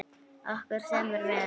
Okkur semur vel